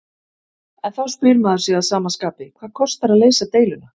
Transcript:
En þá spyr maður sig að sama skapi, hvað kostar að leysa deiluna?